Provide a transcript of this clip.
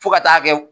Fo ka taa kɛ